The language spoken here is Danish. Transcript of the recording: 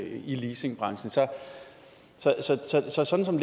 i leasingbranchen så så sådan som